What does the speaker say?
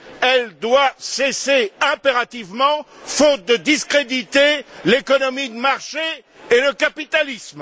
Elle doit cesser impérativement, faute de discréditer l'économie de marché et le capitalisme.